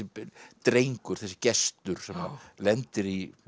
drengur þessi Gestur sem lendir í